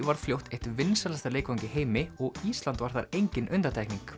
varð fljótt eitt vinsælasta leikfang í heimi og Ísland var þar engin undantekning